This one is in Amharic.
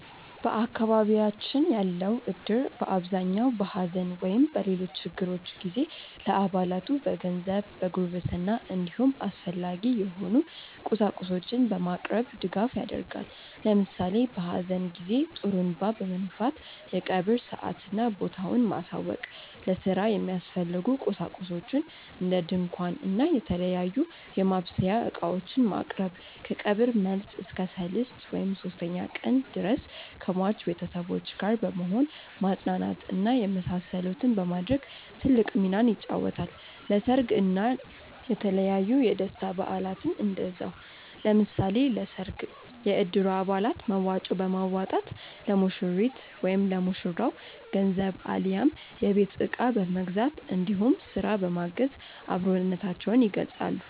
በአካባቢያችን ያለው እድር በአብዛኛው በሐዘን ወይም በሌሎች ችግሮች ጊዜ ለአባላቱ በገንዘብ፣ በጉርብትና እንዲሁም አስፈላጊ የሆኑ ቁሳቁሶችን በማቅረብ ድጋፍ ያደርጋል። ለምሳሌ በሀዘን ጊዜ ጡሩንባ በመንፋት የቀብር ሰአትና ቦታውን ማሳወቅ፣ ለስራ የሚያስፈልጉ ቁሳቁሶችን እንደ ድንኳን እና የተለያዩ የማብሰያ እቃዎችን ማቅረብ፣ ከቀብር መልስ እስከ ሰልስት (ሶስተኛ ቀን) ድረስ ከሟች ቤተሰቦች ጋር በመሆን ማፅናናት እና የመሳሰሉትን በማድረግ ትልቅ ሚናን ይጫወታል። ለሰርግ እና የተለያዩ የደስታ በአላትም እንደዛው። ለምሳሌ ለሰርግ የእድሩ አባላት መዋጮ በማዋጣት ለሙሽሪት/ ለሙሽራው ገንዘብ አሊያም የቤት እቃ በመግዛት እንዲሁም ስራ በማገዝ አብሮነታቸውን ይገልፃሉ።